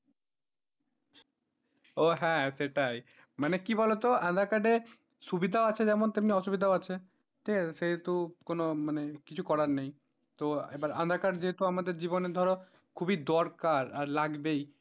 ও হ্যাঁ সেটাই মানে কি বলতো aadhaar card এ সুবিধা আছে যেমন তেমনি অসুবিধা আছে, ঠিক আছে সেহেতু কোন মানে কিছু করার নেই তো এবার aadhaar card যেহেতু আমাদের জীবনের ধরো খুবই দরকার আর লাগবেই,